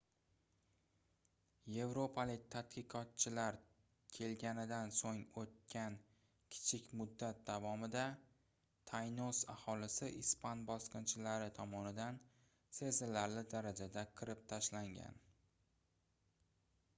yevropalik tadqiqotchilar kelganidan soʻng oʻtgan kichik muddat davomida taynos aholisi ispan bosqinchilari tomonidan sezilarli darajada qirib tashlangan